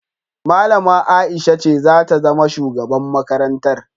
Malama Aisha ce zata zama shugaban makarantar